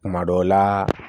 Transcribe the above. Kuma dɔw la